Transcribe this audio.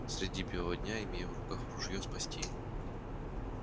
среди бела дня имея в руках ружье отогнать волков и спасти